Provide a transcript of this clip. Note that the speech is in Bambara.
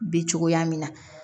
Bi cogoya min na